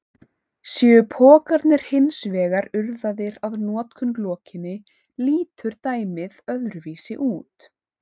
Séu pokarnir hins vegar urðaðir að notkun lokinni lítur dæmið öðruvísi út.